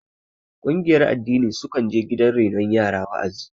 Ƙungiyar addini sukan je gidan renon yara wa'azi